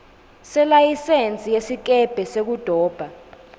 selayisensi yesikebhe sekudoba